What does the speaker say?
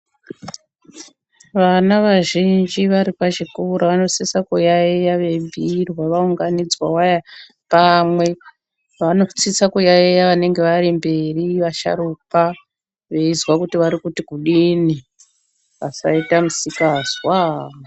Vana vazhiinji vari pazvikora, vanosisa kuyaiya veibhuirwa vaunganidzwa waa pamwe .Vanosisa kuyaiya vanenge vari mberi ,vasharukwa veizwa kuti vari kuti kudini. Vasaita misikazwaaa.